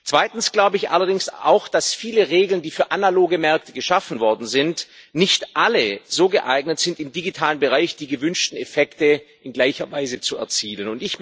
Zweitens sind allerdings auch viele Regeln, die für analoge Märkte geschaffen worden sind, nicht alle so geeignet, um im digitalen Bereich die gewünschten Effekte in gleicher Weise zu erzielen.